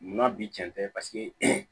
Munna bi cɛn tɛ